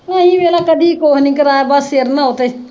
ਅਸੀ ਵੇਖਲਾ ਕਦੀ ਕੁਝ ਨਹੀਂ ਕਰਾਇਆ ਬਸ ਸਿਰ ਨ੍ਹਾਓ ਤੇ